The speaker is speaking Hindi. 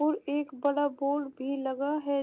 और एक बड़ा बोर्ड भी लगा है।